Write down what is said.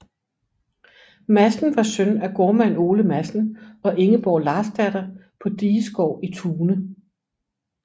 Madsen var søn af gårdmand Ole Madsen og Ingeborg Larsdatter på Digesgaard i Tune